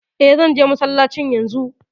E, zan je masallacin yanzu.